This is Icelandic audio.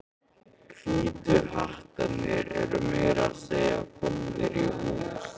Hvítu hattarnir eru meira að segja komnir í hús.